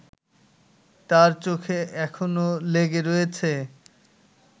তার চোখে এখনো লেগে রয়েছে